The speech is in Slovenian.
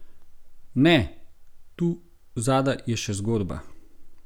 Ne, tu zadaj je še zgodba.